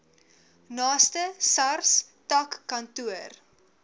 naaste sars takkantoor